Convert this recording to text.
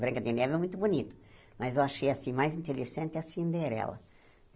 Branca de Neve é muito bonito, mas eu achei assim mais interessante a Cinderela.